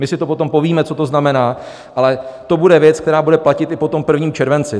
My si to potom povíme, co to znamená, ale to bude věc, která bude platit i po tom 1. červenci.